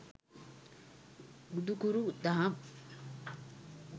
බුදුකුරු දහම්